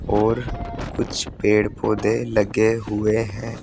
और कुछ पेड़ पौधे लगे हुए हैं।